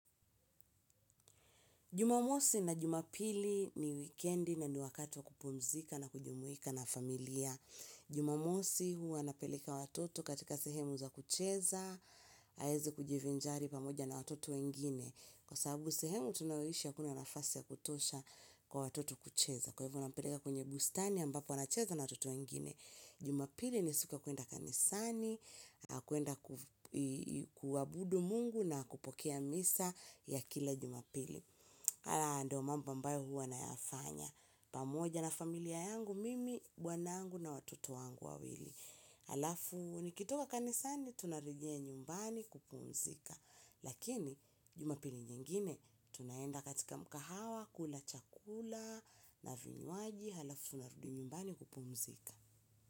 Jumamosi na jumapili ni wikendi na ni wakati wa kupumzika na kujumuika na familia. Jumamosi huwa napeleka watoto katika sehemu za kucheza, haezi kujivinjari pamoja na watoto wengine. Kwa sababu sehemu tunaowishi hakuna nafasi ya kutosha kwa watoto kucheza. Kwa hivo nampeleka kwenye bustani ambapo anacheza na watoto wengine. Jumapili ni siua kuenda kanisani, kuenda kuwabudu mungu na kupokea misa ya kila jumapili. Haya ndo mambo ambayo huwa nayafanya, pamoja na familia yangu, mimi, bwanangu na watoto wangu wawili. Halafu, nikitoka kanisani, tunarejea nyumbani kupumzika. Lakini, jumapili nyingine, tunaenda katika mkahawa, kula chakula, na vinywaji, halafu, narudi nyumbani kupumzika.